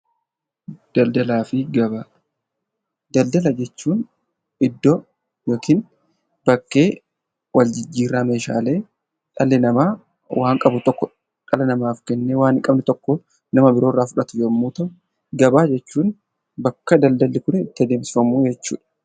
Daldala jechuun iddoo bakkee wal jijjiirraa meeshaalee dhalli namaa waan qabu tokko dhala namaaf kennee waan hin qabne tokko nama biroorraa fudhatu yommuu ta'u, gabaa jechuun bakka daldalli kun itti adeemsifamu jechuudha.